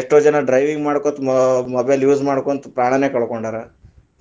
ಎಷ್ಟೋ ಜನಾ driving ಮಾಡ್ಕೋತ mobile use ಮಾಡ್ಕೋತ ಪ್ರಾಣಾನ ಕಳಕೊಂಡಾರ,